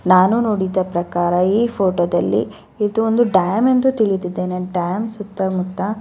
ನಾನು ನೋಡಿದ ಪ್ರಕಾರ ಈ ಫೋಟೋದಲ್ಲಿ ಇದು ಒಂದು ಡ್ಯಾಮ್ ಎಂದು ತಿಳಿದಿದ್ದೇನೆ ಡ್ಯಾಮ್ ಸುತ್ತ ಮುತ್ತ--